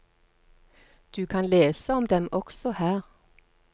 Du kan lese om dem også her.